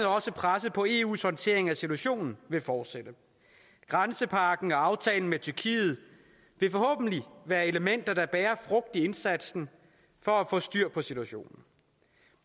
også presset på eus håndtering af situationen fortsætte grænsepakken og aftalen med tyrkiet vil forhåbentlig være elementer der bærer frugt i indsatsen for at få styr på situationen